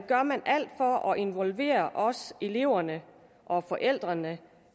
gør man alt for at involvere også eleverne og forældrene